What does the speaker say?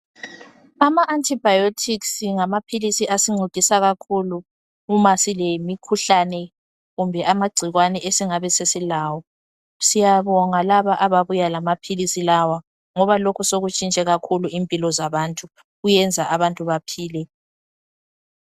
Ama antibiotics ngamaphilisi asincedisa kakhulu uma silemikhuhlane kumbe amagcikwane esingabe sesilawo. Siyabonga labo ababuya lamaphilisi lawa ngoba lokhu sokuntshintshe kakhulu impilo zabantu kuyenza abantu bephile.